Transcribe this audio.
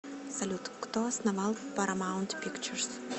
салют кто основал парамаунт пикчерз